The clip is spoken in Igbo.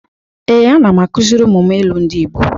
Ee, ana m akụzịrị ụmụ m ilu ndị Igbo